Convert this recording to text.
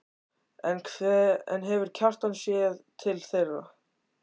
En hefur Kjartan séð til þeirra?